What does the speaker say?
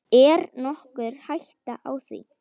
Er nokkur hætta á því?